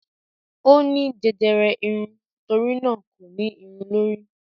ó ní jẹjẹrẹ irun, torínà kò ní irun lórí.